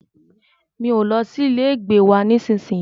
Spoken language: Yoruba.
Mi o lọ sí ilé ìgbé wa nísìyí.